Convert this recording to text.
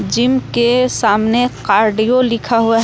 Gym के सामने cardio लिखा हुआ है।